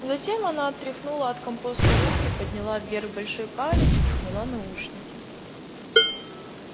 затем она отряхнула от компоста руки подняла вверх большой палец и сняла наушники